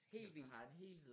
Helt vildt